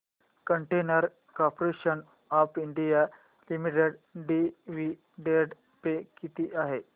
container corporation of India limited dividend pay किती आहे